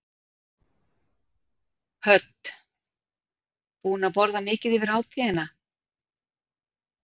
Hödd: Búinn að borða mikið yfir hátíðina?